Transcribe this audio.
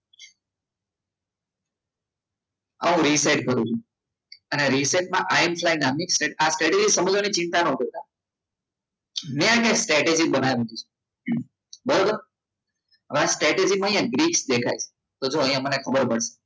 હવે reset કરું છું અને reset માં આઈએમપી નામની સ્ટ્રેટેજી કરો ચિંતા ના કરતા મેં એમને સ્ટ્રેટેજી બનાવી છે બરોબર હવે આ સ્ટેજમાં ગ્રીસ દેખાય તો અહીંયા જુઓ તો અહીંયા જો મને ખબર પડી